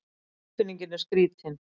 Tilfinningin er skrítin